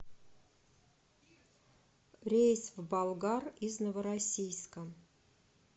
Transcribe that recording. рейс в болгар из новороссийска